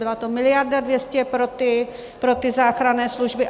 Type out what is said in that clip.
Byla to miliarda 200 pro ty záchranné služby.